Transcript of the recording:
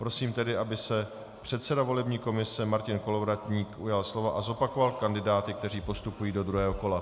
Prosím tedy, aby se předseda volební komise Martin Kolovratník ujal slova a zopakoval kandidáty, kteří postupují do druhého kola.